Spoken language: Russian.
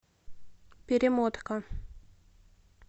перемотка